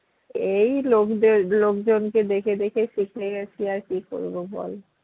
এই লোকদের লোকজনকে দেখে দেখে শিখে গেছি আর কি করবো বল